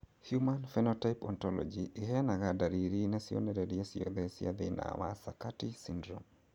Human Phenotype Ontology ĩheanaga ndariri na cionereria ciothe cia thĩna wa Sakati syndrome.